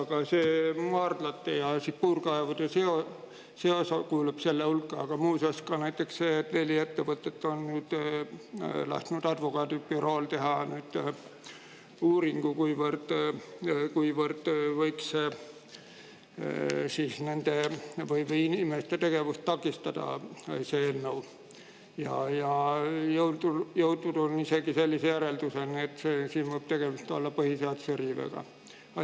Ka see maardlate ja puurkaevude osa kuulub selle hulka, aga muuseas ka näiteks see, et neli ettevõtet on lasknud advokaadibürool teha uuringu, kuivõrd võiks inimeste tegevust takistada see eelnõu, ja on jõutud isegi sellise järelduseni, et siin võib tegemist olla põhiseaduse riivega.